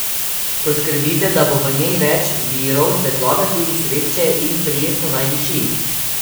Poskrbite, da bo v njej več virov svetlobe, tudi sveče, in prijetno naj diši.